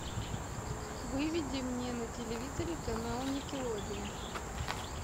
выведи мне на телевизоре канал никелодион